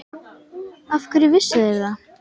Af hverju vissu þeir það?